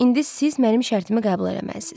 İndi siz mənim şərtimi qəbul eləməlisiz.